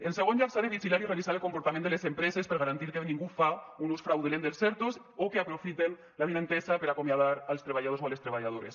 en segon lloc s’ha de vigilar i revisar el comportament de les empreses per garantir que ningú faci un ús fraudulent dels erto o que aprofiten l’avinentesa per acomiadar els treballadors o les treballadores